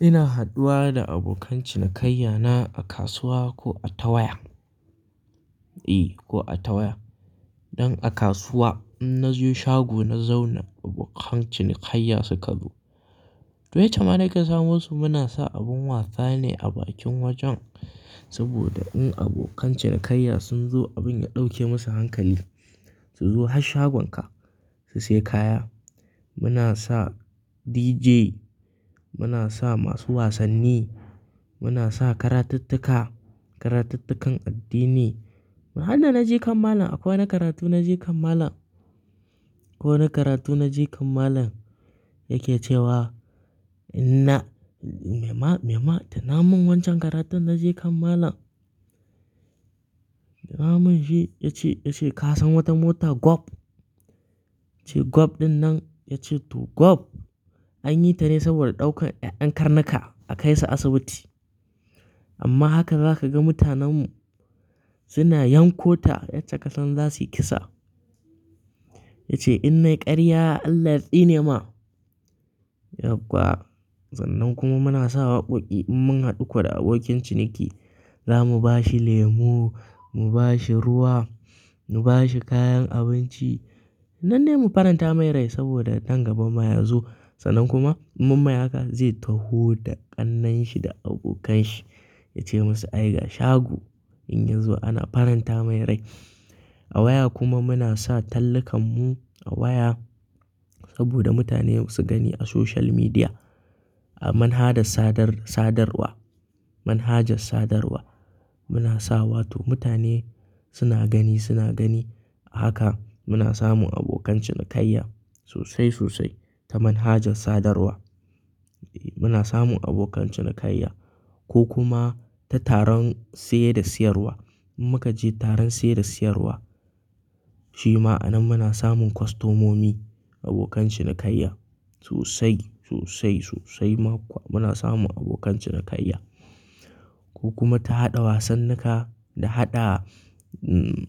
Ina haɗuwa da abokan cinikayya na a kasuwa ko a ta waya. Eh ko a tawaya. Dan a kasuwa in na je shago na zauna abokan cinikayya suka zo. To yace mana yakan samo su muna sa abun wasa ne a bakin wajen. Saboda in abokan cinikayya sun zo abin ya ɗauke musu hankali su zo har shagonka su siya kaya. Muna sa DJ, muna sa masu wasanni, muna sa karatuttuka, karatuttukan addini. Hada na jikan malam a kowane karatu na jikan malam. Ko wane karatu na jikan malam yake cewa "Inna me ma me ma? Tana mun wancan karatun" na je kan malam. Ya ce ya ce ka san wata mota gwab? Ya ce gwab dinnan ya ce to gwab anyi ta ne saboda ɗaukan ƴan karnuka a kaisu asibiti. Amma haka za ka ga mutanen mu suna yankota yacce kasan za su yi kisa. Ya ce inna karya Allah tsine ma yauwa. Sannan kuma muna sa waƙoƙi in mun haɗu ko da abokin ciniki. Za mu bashi lemu, mu bashi ruwa, mu bashi kayan abinci. Nan dai mu faranta mai rai saboda nan gaba ma ya zo. Sannan kuma in mai haka zai taho da ƙannan shi da abokan shi. Ya ce musu ayi ga shago in yazo ana faranta mai rai. A waya kuma muna sa tallukan mu a waya. Saboda mutane su gani a social media. A manhadar sadarwa, manhajar sadarwa muna sawa to mutane suna gani suna gani. Haka muna samun abokan cinikayya sosai sosai ta manhajar sadarwa. Eh muna samun abokan cinikayya ko kuma ta taron saye da siyarwa. In muka je taron saye da siyarwa shi ma anan muna samun kostomomi abokan cinikayya sosai sosai sosai ma kuwa muna samun abokan cinikayya. Ko kuma ta haɗa wasannika da haɗa mm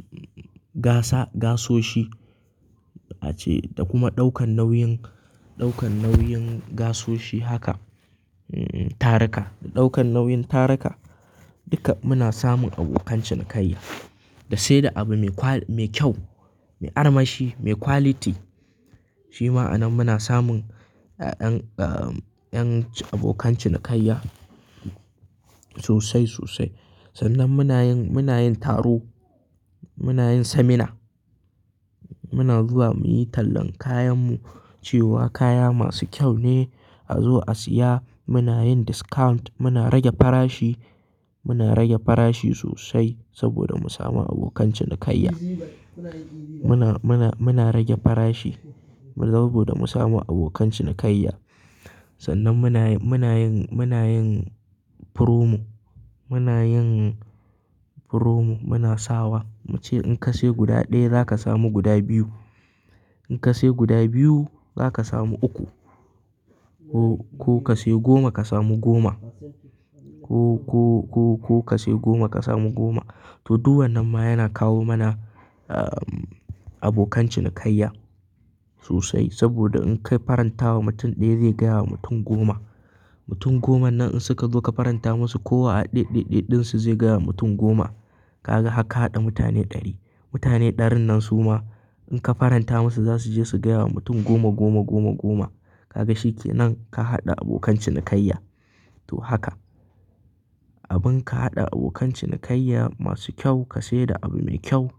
gasa gasoshi. Ace da kuma ɗaukan nauyin, ɗaukan nauyin gasoshi haka mm taraka da ɗaukan nauyin taraka duka muna samun abokan cinikayya. Da sai da abu me kwa-- me kyau, me armashi, me quality shi ma anan muna samun ƴan ahh ƴan abokan cinikayya sosai sosai. Sannan muna yin, muna yin taro, muna yin seminar. Muna zuwa muyi tallan kayan mu cewa kaya masu kyau ne a zo a siya. Muna yin discount muna rage farashi, muna rage farashi sosai saboda mu samu abokan cinikayya. Muna, muna, muna rage farashi saboda mu samu abokan cinikayya. Sannan muna yin, muna yin promo, muna yin promo muna sawa mu ce in ka siya guda ɗaya zaka samu guda biyu. In ka siya guda biyu zaka samu uku. Ko ka siya goma ka samu goma. Ko, ko, ko ka siyi goma ka samu goma. To duk wannan ma yana kawo mana ahh abokan cinikayya sosai saboda in kai faranta wa mutum ɗaya zai gaya wa mutum goma. Mutum goman nan in suka zo ka faranta musu kowa a ɗeɗeɗe ɗin su zai gaya wa mutum goma. Ka ga haka ka haɗa mutane ɗari. Mutane ɗarin nan su ma in ka faranta musu za su je su gaya wa mutum goma goma goma goma. Ka ga shi kenan ka haɗa abokan cinikayya. To haka abin ka haɗa abokan cinikayya masu kyau ka sai da abu mai kyau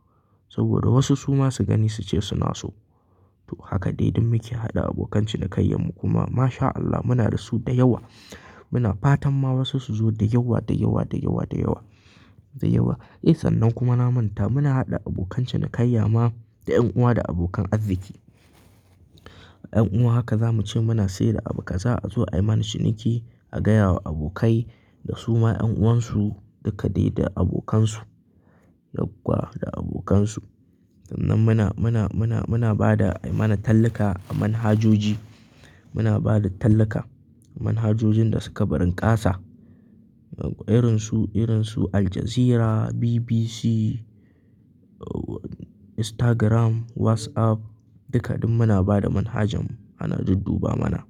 saboda wasu su ma su gani su ce suna so. To haka dai duk muke haɗa abokan cinikayya mu kuma mashAllah muna da su da yawa. Muna fatan ma wasu su zo da yawa da yawa da yawa da yawa da yawa. Eh sannan kuma na manta muna haɗa abokan cinikayya ma da ƴan uwa da abokan arziki. Ƴan uwa haka za mu ce muna sayar da abu ka zo a yi mana ciniki a gaya wa abokai da su ma ƴan uwan su duka dai da abokan su. Yau kuwa da abokan su. Sannan muna, muna, muna, muna ba da mana talluka a manhajoji. Muna ba da talluka manhajojin da suka barin ƙasa. Irin su, irin su Aljazeera, BBC, Instagram, WhatsApp duka duk muna ba da manhajan ana dudduba mana.